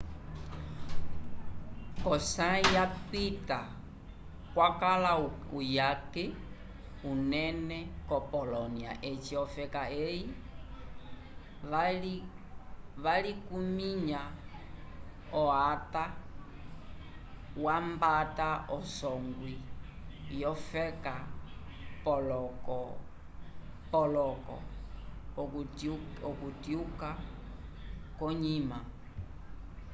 ko sayi ya pita kwakala uyake unene ko polonia eci ofeka eyi valikuminya o acta wambata a songwi wofeka poloko okutyuka konyima